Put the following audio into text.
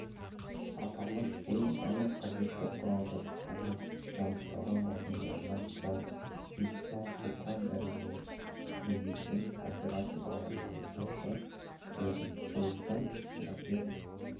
аталмыш пойыз барлық қажетті құрал-жабдықтармен жабдықталған вагондарынан тұрады медициналық топқа дәрігер медбике оператор-бағдарламашы кіреді пойызда терапевт